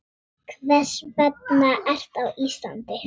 Hvers vegna ertu á Íslandi?